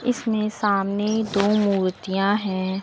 इसमें सामने दो मूर्तियां हैं।